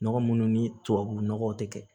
Nɔgɔ munnu ni tubabu nɔgɔ tɛ kɛ